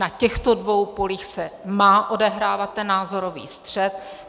Na těchto dvou polích se má odehrávat ten názorový střet.